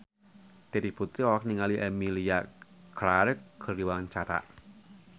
Terry Putri olohok ningali Emilia Clarke keur diwawancara